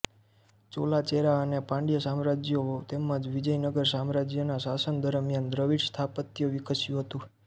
ચોલા ચેરા અને પાંડ્ય સામ્રાજ્યો તેમજ વિજયનગર સામ્રાજ્યના શાસન દરમિયાન દ્રવિડ સ્થાપત્ય વિકસ્યું હતું